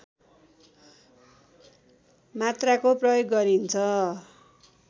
मात्रामा प्रयोग गरिन्छ